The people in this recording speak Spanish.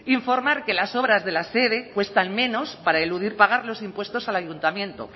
informar que las obras de la sede cuestan menos para eludir pagar los impuestos al ayuntamiento